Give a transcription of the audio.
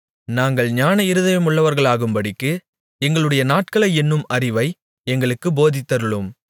நாங்கள் ஞான இருதயமுள்ளவர்களாகும்படி எங்களுடைய நாட்களை எண்ணும் அறிவை எங்களுக்குப் போதித்தருளும்